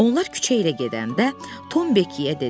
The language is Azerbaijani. Onlar küçə ilə gedəndə Tom Bekiyə dedi.